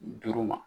Duuru ma